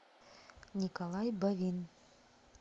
николай бовин